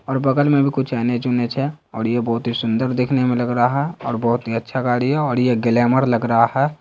और बगल में भी कुछ इन जूने छे और ये बहुत ही सुंदर देखने में लग रहा है और बहुत ही अच्छा गाड़ी है और ये ग्लैमर लग रहा है।